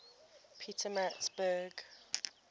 pietermaritzburg